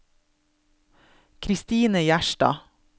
Christine Gjerstad